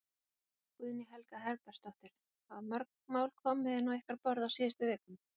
Guðný Helga Herbertsdóttir: Hafa mörg mál komið inn á ykkar borð á síðustu vikum?